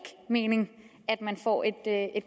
mening at man får et